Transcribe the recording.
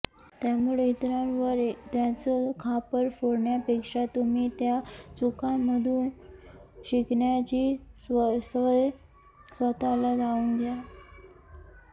त्यामुळे इतरांवर त्याचं खापर फोडण्यापेक्षा तुम्ही त्या चुकांमधून शिकण्याची सवय स्वतःला लावून घ्या